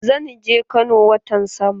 Zan je Kano watan sama.